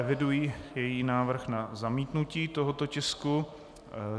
Eviduji její návrh na zamítnutí tohoto tisku.